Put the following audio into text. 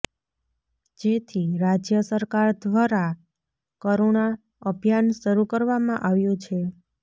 જેથી રાજ્ય સરકાર ધ્વરા કરુણા અભિયાન શરૂ કરવામાં આવ્યું છે